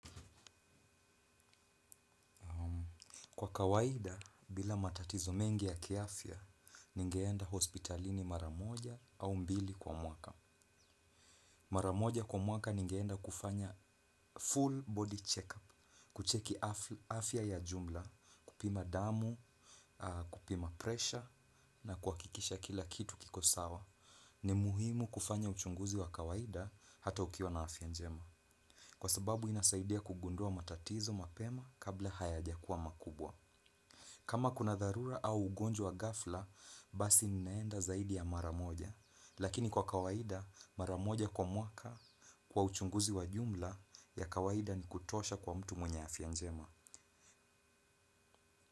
Kwa kawaida, bila matatizo mengi ya kiafya, ningeenda hospitalini mara moja au mbili kwa mwaka. Mara moja kwa mwaka ningeenda kufanya full body check-up, kucheki afya ya jumla, kupima damu, kupima pressure, na kuhakikisha kila kitu kiko sawa. Ni muhimu kufanya uchunguzi wa kawaida hata ukiwa na afya njema. Kwa sababu inasaidia kugundua matatizo mapema kabla hayajakuwa makubwa. Kama kuna dharura au ugonjwa ghafla, basi ninaenda zaidi ya mara moja. Lakini kwa kawaida, mara moja kwa mwaka kwa uchunguzi wa jumla ya kawaida ni kutosha kwa mtu mwenye afya njema.